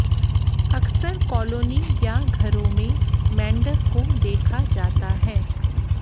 अक्सर कॉलोनी या घरों में मेढ़क को देखा जाता है